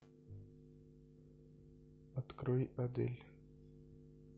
открой адель